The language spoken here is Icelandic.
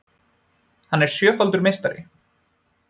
Hann er sjöfaldur meistari